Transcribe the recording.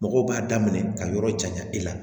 Mɔgɔw b'a daminɛ ka yɔrɔ jan i la